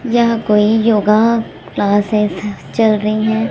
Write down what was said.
यह कोई yoga classes चल रही हैं।